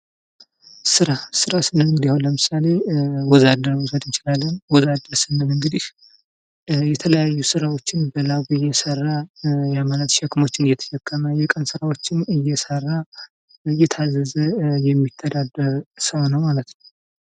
ስራ ስንል አሁን ለምሳሌ ወዝ አደርን መዉሰድ እንችላለን። ወዝ አደር ስንል እንግዲህ የተለያዩ ስርዎችን በላቡ እየሰራ፣ ሸክሞችን እየተሸከመ፣ የቀን ስርዎችን እየሰራ እና እየታዘዘ የሚተዳደር ሰው ነው ማለት ነው።